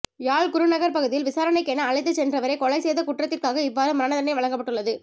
யாழ் குருநகர் பகுதியில் விசாரணைக்கென அழைத்துச் சென்றவரை கொலை செய்த குற்றத்திற்காக இவ்வாறு மரண தண்டனை வழங்கப்பட்டுள்ளது